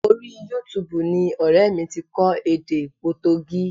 Orí Yútuubù ni ọrẹ mi ti kọ́ èdè Potogí